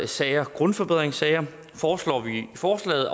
sager grundforbedringssager foreslår vi i forslaget